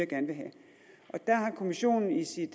gerne vil have der har kommissionen i sit